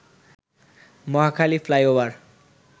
Mohakhali flyover